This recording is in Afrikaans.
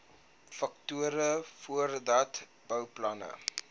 faktore voordat bouplanne